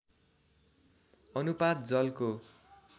अनुपात जलको